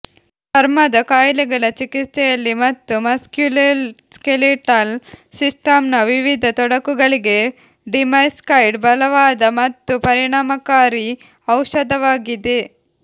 ಚರ್ಮದ ಕಾಯಿಲೆಗಳ ಚಿಕಿತ್ಸೆಯಲ್ಲಿ ಮತ್ತು ಮಸ್ಕ್ಯುಲೋಸ್ಕೆಲಿಟಲ್ ಸಿಸ್ಟಮ್ನ ವಿವಿಧ ತೊಡಕುಗಳಿಗೆ ಡಿಮೆಕ್ಸೈಡ್ ಬಲವಾದ ಮತ್ತು ಪರಿಣಾಮಕಾರಿ ಔಷಧವಾಗಿದೆ